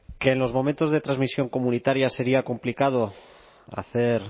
que en los momentos de transmisión comunitaria sería complicado hacer